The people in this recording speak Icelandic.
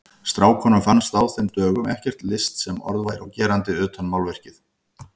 Strákunum fannst á þeim dögum ekkert list sem orð væri á gerandi utan málverkið.